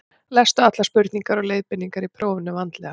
Lestu allar spurningar og leiðbeiningar í prófinu vandlega.